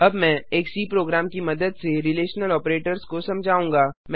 अब मैं एक सी प्रोग्राम की मदद से रिलेशनल ऑपरेटर्स को समझाऊंगा